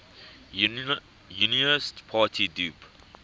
unionist party dup